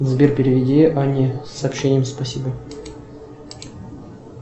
сбер переведи анне с сообщением спасибо